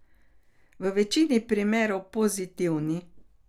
V večini primerov pozitivni.